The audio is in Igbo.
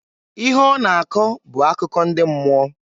Ihe ọ na-akọ bụ akụkọ ndị mmụọ.